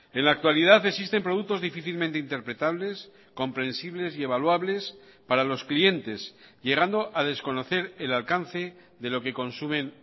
en la actualidad existen productos difícilmente interpretables comprensibles y evaluables para los clientes llegando a desconocer el alcance de lo que consumen